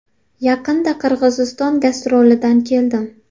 Yaqinda Qirg‘iziston gastrolidan keldim.